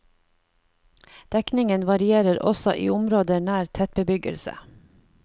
Dekningen varierer også i områder nær tettbebyggelse.